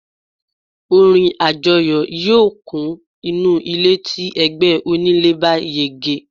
orin ajọyọ̀ yíò kun inú ilé ti ẹgbẹ onílé bá yege